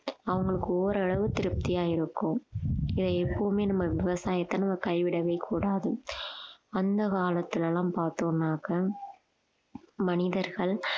அவங்களுக்கு ஓரளவு திருப்தியா இருக்கும் இதை எப்பவுமே நம்ம விவசாயத்தை நம்ம கைவிடவே கூடாது அந்த காலத்திலெல்லாம் பாத்தோம்னாக்க மனிதர்கள்